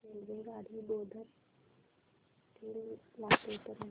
रेल्वेगाडी बोधन ते लातूर पर्यंत